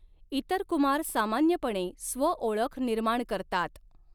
इतर कुमार सामान्यपणे स्वओळख निर्माण करतात.